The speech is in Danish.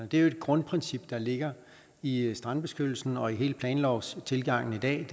det er jo et grundprincip der ligger i strandbeskyttelsen og i hele planlovstilgangen i dag